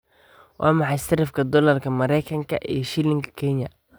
Waa maxay sarifka doolarka Maraykanka iyo shilinka Kenya?